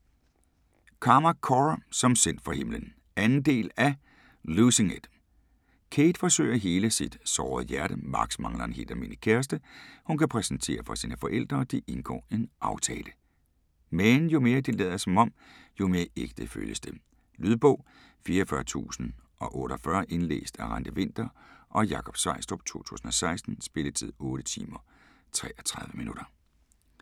Carmack, Cora: Som sendt fra himlen 2. del af Losing it. Cade forsøger at hele sit sårede hjerte. Max mangler en helt almindelig kæreste, hun kan præsentere for sine forældre og de indgår en aftale. Men jo mere de lader som om, jo mere ægte føles det. Lydbog 44048 Indlæst af Randi Winther og Jakob Sveistrup, 2016. Spilletid: 8 timer, 33 minutter.